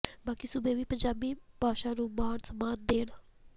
ਬਾਕੀ ਸੂਬੇ ਵੀ ਪੰਜਾਬੀ ਭਾਸ਼ਾ ਨੂੰ ਮਾਨ ਸਨਮਾਨ ਦੇਣ